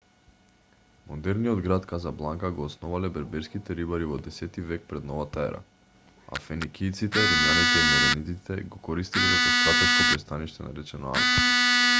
модерниот град казабланка го основале берберските рибари во 10 век пред новата ера а феникијците римјаните и меренидите го користеле како стратешко пристаниште наречено анфа